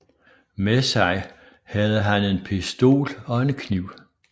Med sig havde han en pistol og en kniv